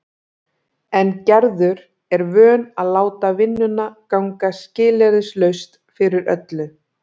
En Gerður er vön að láta vinnuna ganga skilyrðislaust fyrir öllu.